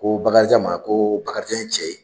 Ko Bakarijan ma ko Bakarijan ye cɛ ye